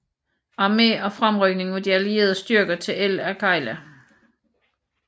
Armé og fremrykning af de allierede styrker til El Agheila